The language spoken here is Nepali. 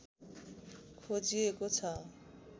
खोजिएको छ